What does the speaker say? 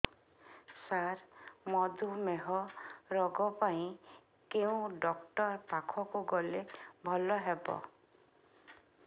ସାର ମଧୁମେହ ରୋଗ ପାଇଁ କେଉଁ ଡକ୍ଟର ପାଖକୁ ଗଲେ ଭଲ ହେବ